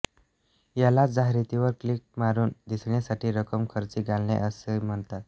यालाच जाहिरातीवर क्लिक मारून दिसण्यासाठी रक्कम खर्ची घालणे असही म्हणतात